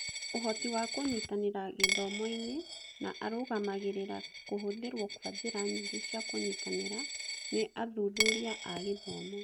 Ũhoti wa kũnyitanĩra gĩthomo-inĩ, na arũgamagĩrĩra kũhũthĩrwo kwa njĩra nyingĩ cia kũnyitanĩra nĩ athuthuria a gĩthomo.